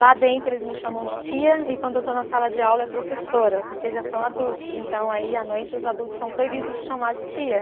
Lá dentro eles me chamam de tia e quando eu estou na sala de aula é professora, porque já são adultos, então aí à noite os adultos são proibidos de chamar de tia.